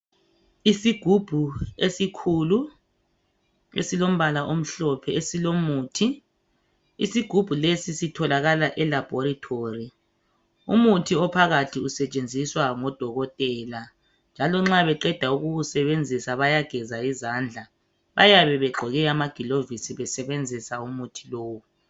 Isigubhu esikhulu esilombala omhlophe esilomuthi, isigubhu lesi sitholakala elaboratory. Umuthi ophakathi usetshenziswa ngodokotela njalo nxa beqeda ukuwusebenzisa bayageza izandla. Bayabe begqoke amagilovisi besebenzisa umuthi lowu.